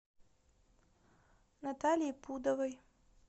наталье пудовой